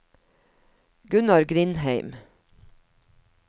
Gunnar Grindheim